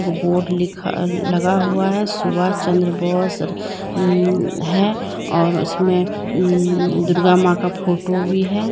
Board लिखा लगा हुआ है सुभाष चंद्र बोस हम्म है और उसमें हम्म दुर्गा मां का फोटो भी है।